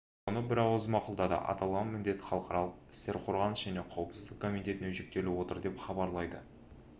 оны бірауыздан мақұлдады аталған міндет халықаралық істер қорғаныс және қауіпсіздік комитетіне жүктеліп отыр деп іабарлайды